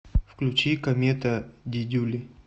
включи комета дидюли